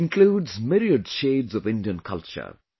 It includes myriad shades of Indian culture